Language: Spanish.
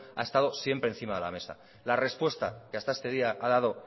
a estado siempre encima de la mesa la respuesta que hasta este día ha dado